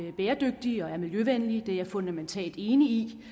er bæredygtige og miljøvenlige det er jeg fundamentalt enig i